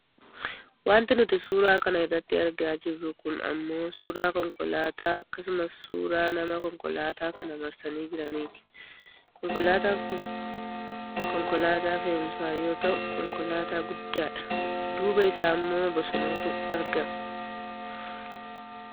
Wanti nuti suura kana irratti argaa jirru kun ammoo suuraa konkolaataa akkasumas suuraa namoota konkolaataa kana marsanii jiraniiti. Konkolaataan kun konkolaataa fe'emsaa yoo ta'u konkolaataa guddaa dha. Duuba isaammoo bosonatu argama.